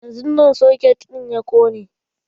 Yanzun nan soket ɗin ya kone.